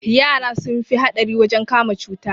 Yara sun fi haɗari wajen kama cuta